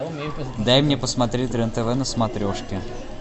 дай мне посмотреть рен тв на смотрешке